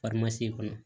kɔnɔ